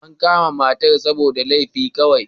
An kama matar ne saboda wani laifi kawai.